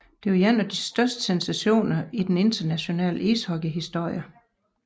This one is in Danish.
Det var en af de største sensationer i den internationale ishockeyhistorie